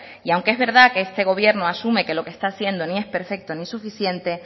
y aunque es verdad que este gobierno asume que lo que están haciendo ni es perfecto ni suficiente